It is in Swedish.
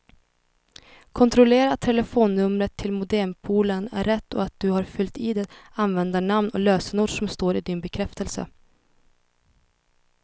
Kontrollera att telefonnumret till modempoolen är rätt och att du har fyllt i det användarnamn och lösenord som står i din bekräftelse.